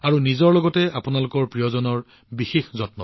নিজৰ আৰু আপোনালোকৰ প্ৰিয়জনৰ যত্ন লব